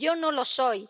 Y yo no lo soy.